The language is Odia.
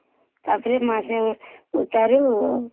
ତାପରେ ମାସେ ଉତ୍ତାରୁ